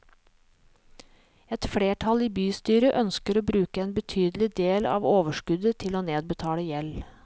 Et flertall i bystyret ønsker å bruke en betydelig del av overskuddet til å nedbetale gjeld.